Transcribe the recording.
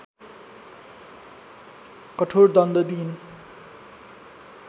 कठोर दण्ड दिइन्